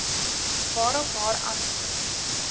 waarop haar antwoord